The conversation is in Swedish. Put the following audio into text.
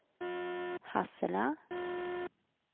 Hassela